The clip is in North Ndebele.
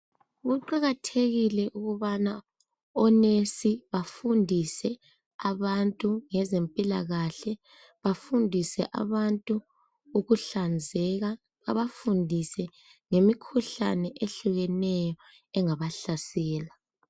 Kuqakathekile ukubana onesi bafundise abantu ngezempilakahle, bafundise abantu ukuhlanzeka. Babafundise ngemikhuhlane ehlukeneyo engabahlasela.